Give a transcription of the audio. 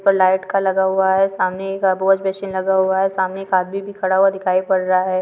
Light का लगा हुआ है सामने एक वाश मशीन लगा हुआ है सामने एक आदमी भी खड़ा हुआ दिखाई पड़ रहा है।